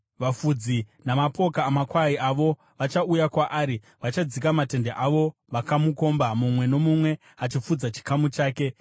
Vafudzi namapoka amakwai avo vachauya kuzomurwisa; vachadzika matende avo vakamukomba, mumwe nomumwe achifudza chikamu chake.”